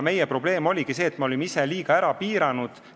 Meie probleem oligi see, et me olime ise selle liiga ära piiranud.